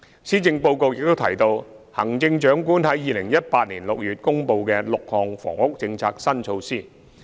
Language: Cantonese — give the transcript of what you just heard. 施政報告亦提到行政長官於2018年6月公布的6項房屋政策新措施。